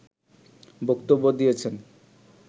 বক্তব্য দিয়েছেন।